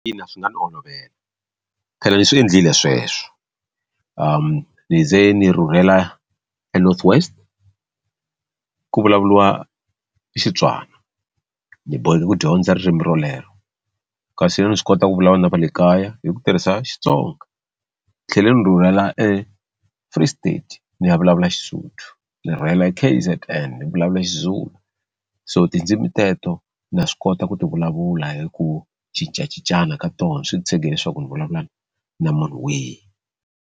Ina swi nga ni olovela phela ni swi endlile sweswo ni ze ni rhurhela eNorth West ku vulavuriwa Xitswana ni boheka ku dyondza ririmi rolero kasi yini ni swi kota ku vulavula na va le kaya hi ku tirhisa Xitsonga ni tlhele ni rhurhela eFree State ni ya vulavula Xisuthu ni rhurhela K_Z_N ni vulavula Xizulu so tindzimi teto na swi kota ku ti vulavula hi ku cincacincana ka tona swi ti tshege leswaku ni vulavula na munhu wihi.